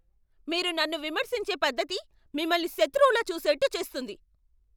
మీరు నన్ను విమర్శించే పద్ధతి మిమ్మల్ని శత్రువులా చూసేట్టు చేస్తుంది.